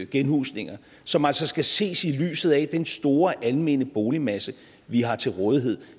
genhusninger som altså skal ses i lyset af den store almene boligmasse vi har til rådighed